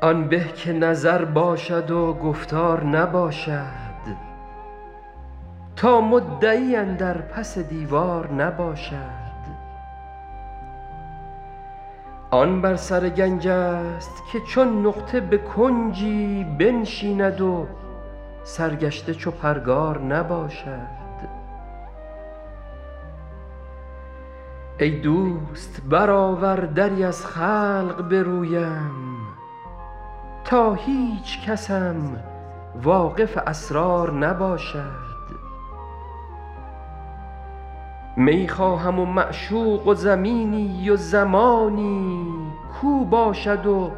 آن به که نظر باشد و گفتار نباشد تا مدعی اندر پس دیوار نباشد آن بر سر گنج ست که چون نقطه به کنجی بنشیند و سرگشته چو پرگار نباشد ای دوست برآور دری از خلق به رویم تا هیچکسم واقف اسرار نباشد می خواهم و معشوق و زمینی و زمانی کاو باشد و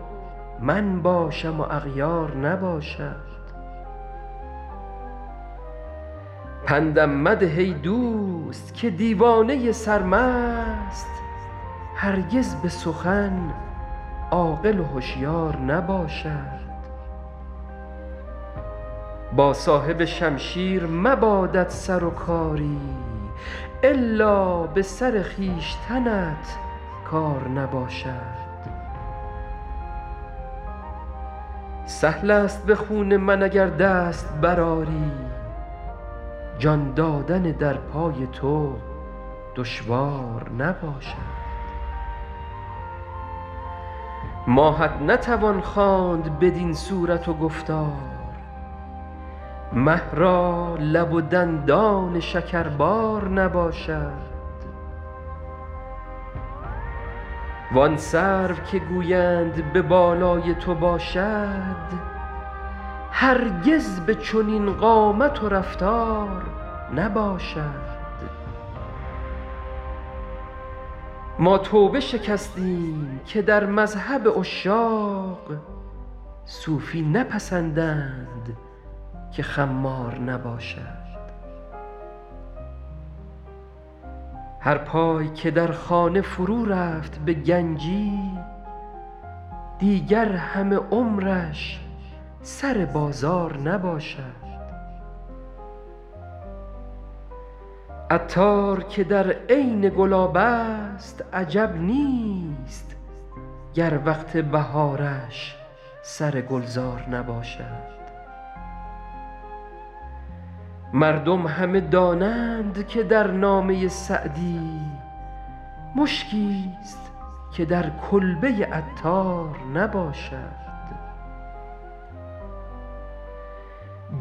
من باشم و اغیار نباشد پندم مده ای دوست که دیوانه سرمست هرگز به سخن عاقل و هشیار نباشد با صاحب شمشیر مبادت سر و کاری الا به سر خویشتنت کار نباشد سهل است به خون من اگر دست برآری جان دادن در پای تو دشوار نباشد ماهت نتوان خواند بدین صورت و گفتار مه را لب و دندان شکربار نباشد وان سرو که گویند به بالای تو باشد هرگز به چنین قامت و رفتار نباشد ما توبه شکستیم که در مذهب عشاق صوفی نپسندند که خمار نباشد هر پای که در خانه فرو رفت به گنجی دیگر همه عمرش سر بازار نباشد عطار که در عین گلاب است عجب نیست گر وقت بهارش سر گلزار نباشد مردم همه دانند که در نامه سعدی مشکیست که در کلبه عطار نباشد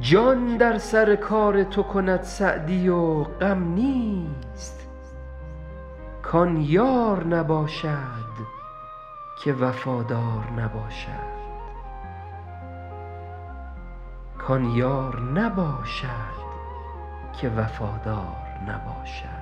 جان در سر کار تو کند سعدی و غم نیست کان یار نباشد که وفادار نباشد